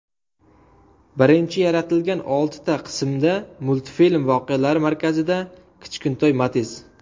Birinchi yaratilgan oltita qismda multfilm voqealari markazida kichkintoy Matiz.